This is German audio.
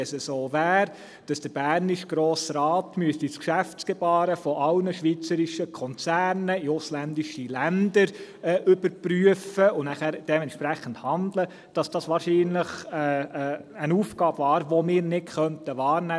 Wenn es so wäre, dass der bernische Grosse Rat das Geschäftsgebaren aller schweizerischer Konzerne in ausländischen Ländern überprüfen und dementsprechend handeln müsste, wäre das wahrscheinlich eine Aufgabe, die wir nicht wahrnehmen könnten.